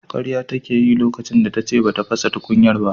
Karya take yi lokacin da tace bata fasa tukunyar ba.